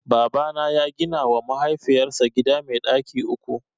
Babana ya gina wa mahaifiyar sa gida mai ɗaki uku